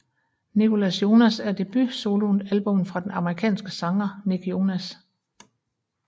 Nicholas Jonas er debut solo albummet fra den amerikanske sanger Nick Jonas